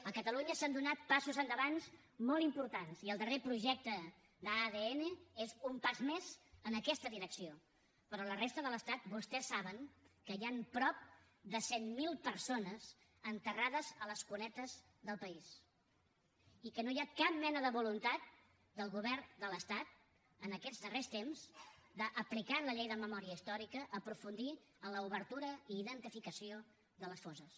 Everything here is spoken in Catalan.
a catalunya s’han donat passos endavant molt importants i el darrer projecte d’adn és un pas més en aquesta direcció però a la resta de l’estat vostès saben que hi han prop de cent mil persones enterrades a les cunetes del país i que no hi ha capllei de memòria històrica aprofundir en l’obertura i identificació de les fosses